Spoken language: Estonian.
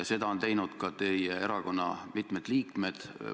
Seda on teinud ka teie erakonna mitmed liikmed.